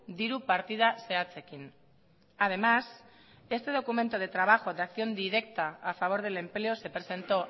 diru partida zehatzekin además este documento de trabajo de acción directa a favor del empleo se presentó